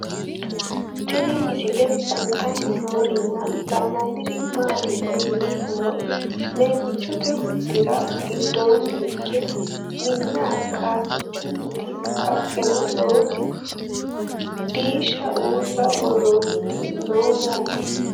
Tinni misile kulittanni noorrinna la'nanniri maattiya yinummoro leemichchotte huxxirra gidoonni hige Minna qaaffichchunnitti ,haqqenna lowotti diishshe uulla woroonnitti noo yaatte